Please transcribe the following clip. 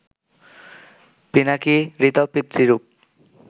পিনাকী, ঋত, পিতৃরূপ